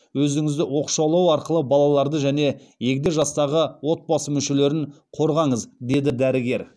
өзіңізді оқшаулау арқылы балаларды және егде жастағы отбасы мүшелерін қорғаңыз деді дәрігер